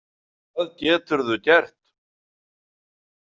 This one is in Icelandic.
Hvað geturðu gert?